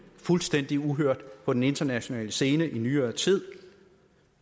fuldstændig uhørt på den internationale scene i nyere tid